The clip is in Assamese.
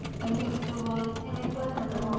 মৃত্যু হ'ল সেনেকুৱা ধৰণৰ